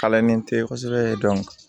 Kalannen tɛ kosɛbɛ